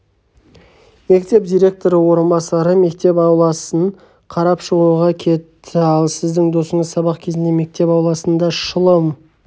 мектеп директоры орынбасары мектеп ауласын қарап шығуға кетті ал сіздің досыңыз сабақ кезінде мектеп ауласында шылым